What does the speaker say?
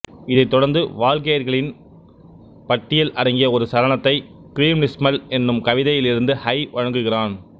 இதை தொடர்ந்து வால்கெய்ரிகளின் பட்டியல் அடங்கிய ஒரு சரணத்தை க்ரிம்னிஸ்மல் என்னும் கவிதையிலிருந்து ஹை வழங்குகிறான்